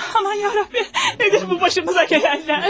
Aman ya Rəbbim! Nədir bu başımıza gələnlər?